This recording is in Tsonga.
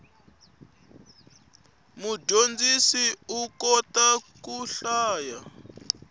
mudyondzisi u kota ku hlaya